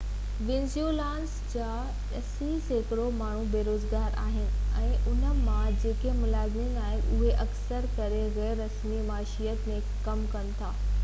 Venezuelans جا اسي سيڪڙو ماڻهو بيروزگار آهن ۽ انهن مان جيڪي ملازم آهن اهي اڪثر ڪري غير رسمي معيشت ۾ ڪم ڪن ٿا